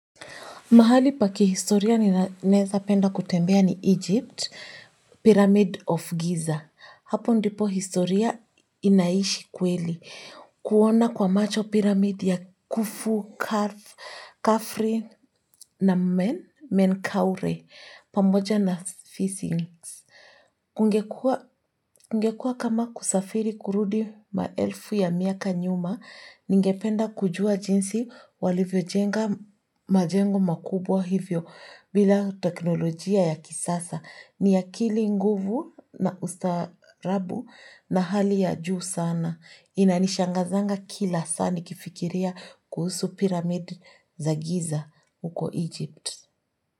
Mahali paki historia ninaeza penda kutembea ni Egypt, (Pyramid of Giza). Hapo ndipo historia inaishi kweli. Kuona kwa macho Pyramid ya Khufu, Khafre na Menkaure pamoja na Sphinx. Kungekuwa kama kusafiri kurudi maelfu ya miaka nyuma, ningependa kujua jinsi walivyojenga majengo makubwa hivyo bila teknolojia ya kisasa. Nia akili, nguvu na ustaarabu na hali ya juu sana. Inanishangazanga kila saa nikifikiria kuhusu Pyramid za Giza huko Egypt.